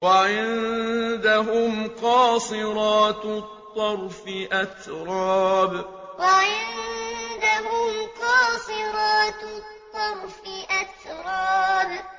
۞ وَعِندَهُمْ قَاصِرَاتُ الطَّرْفِ أَتْرَابٌ ۞ وَعِندَهُمْ قَاصِرَاتُ الطَّرْفِ أَتْرَابٌ